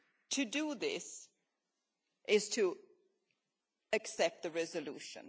To do this is to accept the resolution.